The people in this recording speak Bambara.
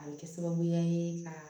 A bɛ kɛ sababuya ye ka